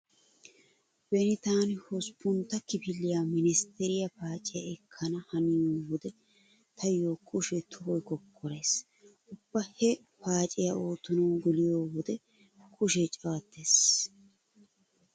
Beni taani hosppuntta kifiliya menestteriya paaciya ekkana haniyo wode taayo kushee tohoy kokkorees. Ubba he paaciya oottanawu geliyo wode kushee cawattees.